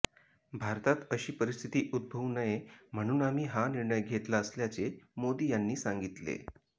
भारतात अशी परिस्थिती उद्भवू नये म्हणून आम्ही हा निर्णय घेतला असल्याचे मोदी यांनी सांगितले